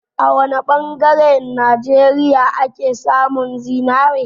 A wa ne ɓangaren Najeriya ake samun zinari?